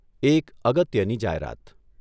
એક અગત્યની જાહેરાત.